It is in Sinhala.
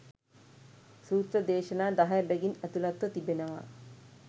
සූත්‍ර දේශනා දහය බැගින් ඇතුළත්ව තිබෙනවා.